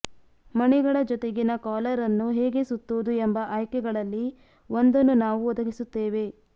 ಮಣಿಗಳ ಜೊತೆಗಿನ ಕಾಲರ್ ಅನ್ನು ಹೇಗೆ ಸುತ್ತುವುದು ಎಂಬ ಆಯ್ಕೆಗಳಲ್ಲಿ ಒಂದನ್ನು ನಾವು ಒದಗಿಸುತ್ತೇವೆ